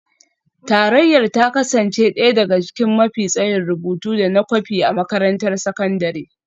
Tarayyar ta kasance ɗaya daga cikin mafi tsayin rubutu da na kwafi a makarantar sakandare